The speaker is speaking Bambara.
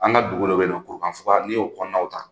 An ka dugu dɔ bɛ ko Ansua n' y'o kɔnɔw ta.